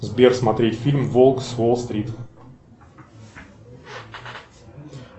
сбер смотреть фильм волк с уолл стрит